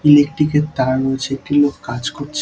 ইলেকট্রিকের তার মনে হচ্ছে একটি লোক কাজ করছ --